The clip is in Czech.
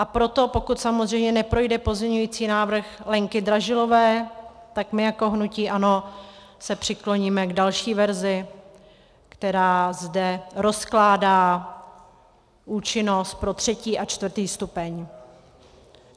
A proto pokud samozřejmě neprojde pozměňovací návrh Lenky Dražilové, tak my jako hnutí ANO se přikloníme k další verzi, která zde rozkládá účinnost pro třetí a čtvrtý stupeň.